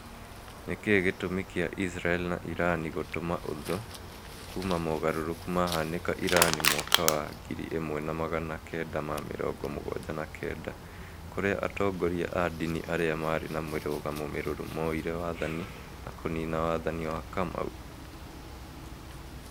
Nĩkĩĩ gĩtũmi kĩa Israel na Iran gũtuma ũthũ kuma mogarũrũku mahanĩka Irani mwaka wa ngiri ĩmwe na magana kenda ma mĩrongo mũgwanja na kenda, kũrĩa atongoria a dini arĩa marĩ na mĩrũgamo mĩrũrũ moĩre wathani na kũnina wathani wa kamau